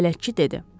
bələdçi dedi.